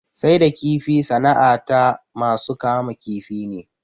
Sai da kifi sana'a ta masu kama kifi ne